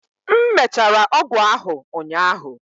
m mechara ọgwụ ahụ ụnyaahụ